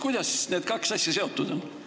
Kuidas need kaks asja seotud on?